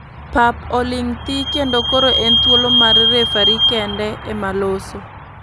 Pap oling thii kendo koro en thuolo mar referi kende ema loso.